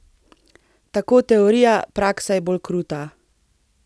Tako teorija, praksa je bolj kruta.